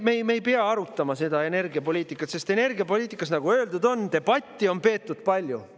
Me ei pea arutama energiapoliitikat, sest energiapoliitika üle, nagu öeldud, on debatti peetud palju.